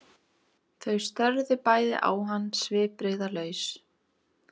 Þau störðu bæði á hann svipbrigðalaus.